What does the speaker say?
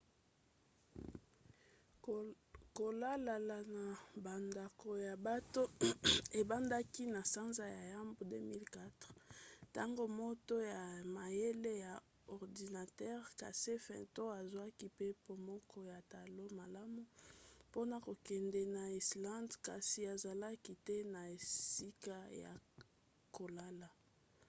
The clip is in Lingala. kolalalala na bandako ya bato ebandaki na sanza ya yambo 2004 ntango moto ya mayele ya ordinatere casey fenton azwaki mpepo moko ya talo malamu mpona kokende na islande kasi azalaki te na esika ya kolala